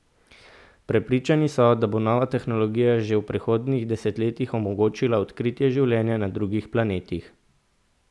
Prepričani so, da bo nova tehnologija že v prihodnjih desetletjih omogočila odkritje življenja na drugih planetih.